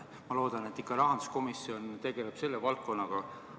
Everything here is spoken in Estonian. Ma loodan, et ikka rahanduskomisjon tegeleb selle valdkonnaga.